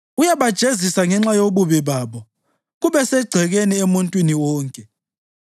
Uyabajezisa ngenxa yobubi babo kube segcekeni emuntwini wonke,